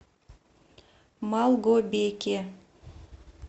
малгобеке